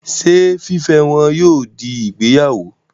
Ṣé fífẹ́ wọn yóò fi ìgbéyàwó?